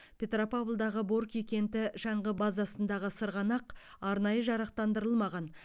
петропавлдағы борки кенті шаңғы базасындағы сырғанақ арнайы жарақтандырылмаған